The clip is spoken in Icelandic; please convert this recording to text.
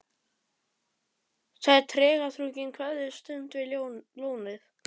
Það er tregaþrungin kveðjustund við lónið.